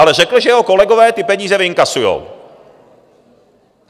Ale řekl, že jeho kolegové ty peníze vyinkasují.